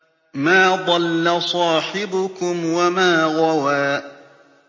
مَا ضَلَّ صَاحِبُكُمْ وَمَا غَوَىٰ